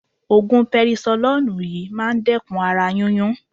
Ògùn perisolónùù yí máa dẹ́kun ara yúnyún.